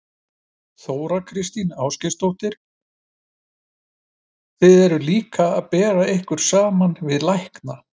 Þóra Kristín Ásgeirsdóttir: Þið eruð líka að bera ykkur saman við lækna?